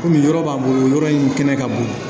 Kɔmi yɔrɔ b'a bolo yɔrɔ in kɛnɛ ka bon